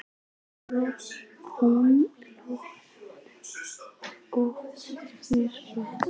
Hún hló að honum og sneri sér burt.